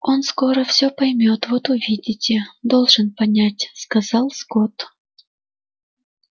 он скоро все поймёт вот увидите должен понять сказал скотт